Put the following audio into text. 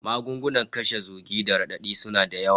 Magunguna kashe zugi da radadi suna da yawa